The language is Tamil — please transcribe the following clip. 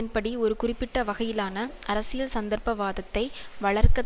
ன்படி ஒரு குறிப்பிட்ட வகையிலான அரசியல் சந்தர்ப்ப வாதத்தை வளர்க்க